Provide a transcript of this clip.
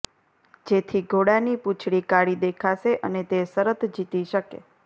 જેથી ઘોડાની પૂંછડી કાળી દેખાશે અને તે શરત જીતી શકે